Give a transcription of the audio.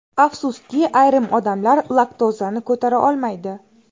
Afsuski, ayrim odamlar laktozani ko‘tara olmaydi.